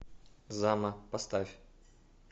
зама поставь